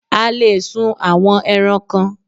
A le è sun àwọn ẹran kan